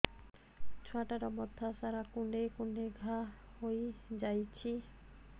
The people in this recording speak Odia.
ଛୁଆଟାର ମଥା ସାରା କୁଂଡେଇ କୁଂଡେଇ ଘାଆ ହୋଇ ଯାଇଛି